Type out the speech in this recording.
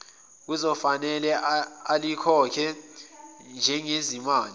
okuzofanele alikhokhe njengezimali